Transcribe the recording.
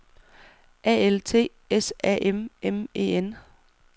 A L T S A M M E N